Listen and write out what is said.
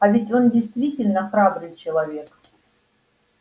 а ведь он действительно храбрый человек